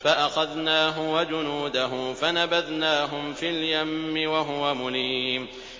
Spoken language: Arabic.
فَأَخَذْنَاهُ وَجُنُودَهُ فَنَبَذْنَاهُمْ فِي الْيَمِّ وَهُوَ مُلِيمٌ